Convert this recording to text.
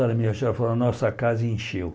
A senhora me achou falou, nossa casa encheu.